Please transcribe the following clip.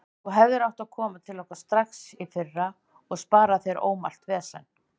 Þú hefðir átt að koma til okkar strax í fyrra og spara þér ómælt vesen.